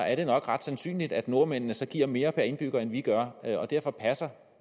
er det nok ret sandsynligt at nordmændene så giver mere per indbygger end vi gør derfor passer